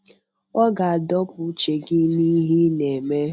Ọ ga-adọpụ uche gị n'ihe ị na-eme.